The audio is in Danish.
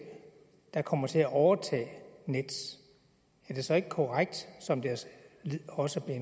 der kommer til at overtage nets er det så ikke korrekt som det også er